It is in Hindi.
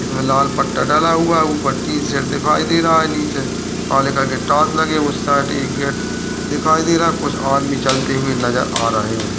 इसमें लाल पट्टा डाला हुआ है वो टीशर्ट दिखाई दे रहा है नीचे उस साइड एक गेट दिखाई दे रहा है कुछ आदमी चलते नजर आ रहे हैं।